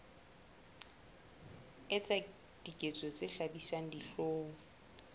etsa diketso tse hlabisang dihlong